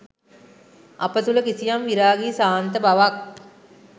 අප තුළ කිසියම් විරාගී ශාන්ත බවක්